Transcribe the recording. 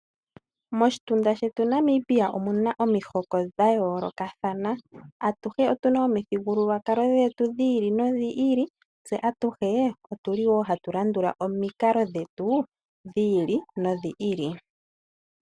Moshitunda shetu Namibia omuna omihoko dha yoolokathana. Atuhe otuna omithigulwakalo dhetu dhi ili nodhi ili, tse atuhe otuli wo hatu landula omikalo dhetu dhi ili nodhi ili.